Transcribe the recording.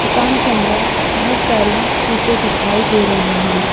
दुकान के अंदर बहुत सारी चीज़ें दिखाई दे रही हैं।